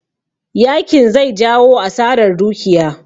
Yakin zai jawo asarar dukiya